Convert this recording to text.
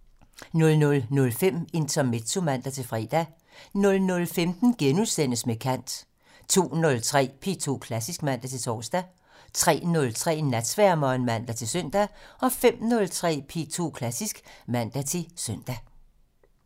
00:05: Intermezzo (man-fre) 00:15: Med kant * 02:03: P2 Klassisk (man-tor) 03:03: Natsværmeren (man-søn) 05:03: P2 Klassisk (man-søn)